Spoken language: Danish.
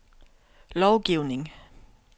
lovgivning